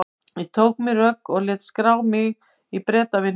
Ég tók á mig rögg og lét skrá mig í Bretavinnuna.